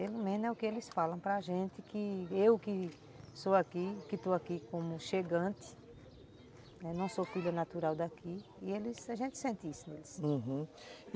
Pelo menos é o que eles falam para a gente, que, eu que sou aqui, que estou aqui como chegante, não sou filha natural daqui, e a gente sente isso neles, uhum.